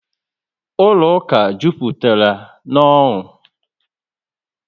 Ụlọ ụka juputara na n'onu